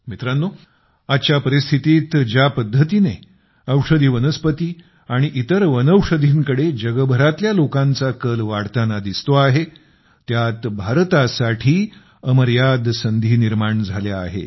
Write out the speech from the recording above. मित्रांनो आजच्या परिस्थितीत ज्या पद्धतीने औषधी वनस्पती आणि इतर वनौषधींकडे जगभरातल्या लोकांचा कल वाढतांना दिसतो आहे त्यात भारतासाठी अमर्याद संधी निर्माण झाल्या आहेत